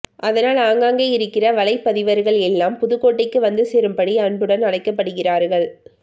அதனால் ஆங்காங்கே இருக்கிற வலைப்பதிவர்கள் எல்லாம் புதுக்கோட்டைக்கு வந்து சேரும்படி அன்புடன் அழைக்கப்படுகிறார்கள்